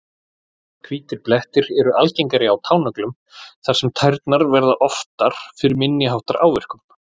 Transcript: Hvítir blettir eru algengari á tánöglum þar sem tærnar verða oftar fyrir minni háttar áverkum.